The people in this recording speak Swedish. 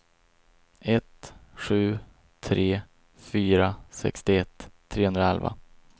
ett sju tre fyra sextioett trehundraelva